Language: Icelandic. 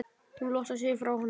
Hún losar sig frá honum.